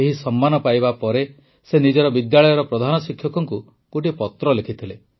ଏହି ସମ୍ମାନ ପାଇବା ପରେ ସେ ନିଜ ବିଦ୍ୟାଳୟର ପ୍ରଧାନଶିକ୍ଷକଙ୍କୁ ଗୋଟିଏ ପତ୍ର ଲେଖିଥିଲେ